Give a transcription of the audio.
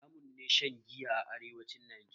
Haramun ne shan giya a arewacin Najeriya